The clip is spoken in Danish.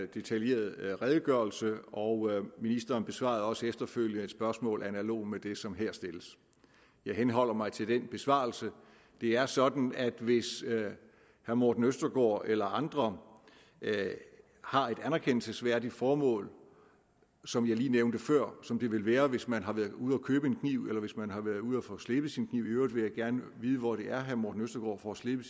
detaljeret redegørelse og ministeren besvarede også efterfølgende et spørgsmål analogt med det som her stilles jeg henholder mig til den besvarelse det er sådan at hvis herre morten østergaard eller andre har et anerkendelsesværdigt formål som jeg lige nævnte før som det ville være hvis man har været ude at købe en kniv eller hvis man har været ude at få slebet sin kniv i øvrigt vil jeg gerne vide hvor det er herre morten østergaard får slebet